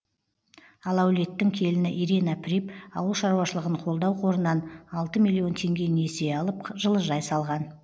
ал әулеттің келіні ирина приб ауылшаруашылығын қолдау қорынан алты миллион теңге несие алып жылыжай салған